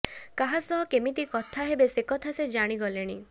କାହା ସହ କେମିତି କଥା ହେବେ ସେକଥା ସେ ଜାଣିଗଲେଣି